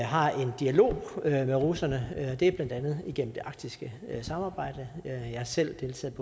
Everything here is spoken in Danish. har en dialog med russerne det er blandt andet igennem det arktiske samarbejde jeg har selv deltaget